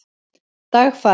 Dagfari